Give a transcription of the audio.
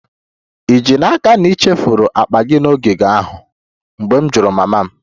Ì ji n'aka na ị chefuru akpa gị n'ogige ahụ? M jụrụ mama m